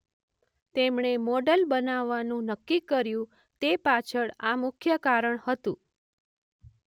તેમણે મોડલ બનવાનું નક્કી કર્યું તે પાછળ આ મુખ્ય કારણ હતું.